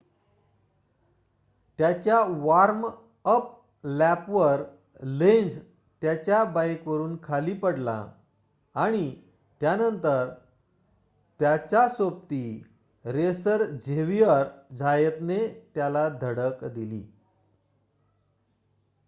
त्याच्या वॉर्म-अप लॅपवर लेन्झ त्याच्या बाइकवरून खाली पडला आणि त्यानंतर त्याच्या सोबती रेसर झेविअर झायतने त्याला धडक दिली